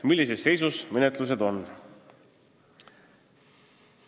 Menetluste seisu hinnatakse regulaarselt.